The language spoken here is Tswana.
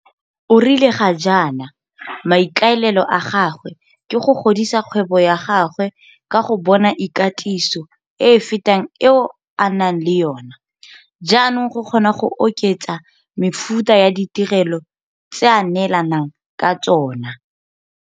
O rile ga jaana maikaelelo a gagwe ke go godisa kgwebo ya gagwe ka go bona ikatiso e e fetang eo a nang le yona jaanong go kgona go oketsa mefuta ya ditirelo tse a neelanang ka tsona.